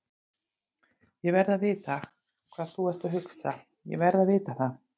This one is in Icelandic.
ÉG VERÐ AÐ VITA HVAÐ ÞÚ ERT AÐ HUGSA, ÉG VERÐ AÐ VITA ÞAÐ!